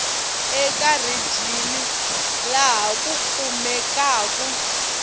eka rijini laha ku kumekaku